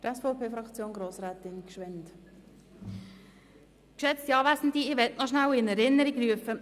Ich will gerne Folgendes in Erinnerung rufen: